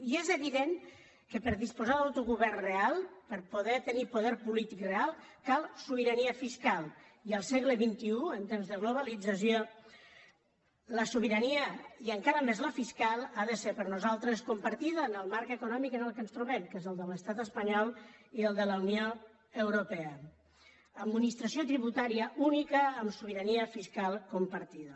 i és evident que per a disposar d’autogovern real per a poder tenir poder política real cal sobirania fiscal i al segle xxibalització la sobirania i encara més la fiscal ha de ser per nosaltres compartida en el marc econòmic en què ens trobem que és el de l’estat espanyol i el de la unió europea administració tributària única amb sobirania fiscal compartida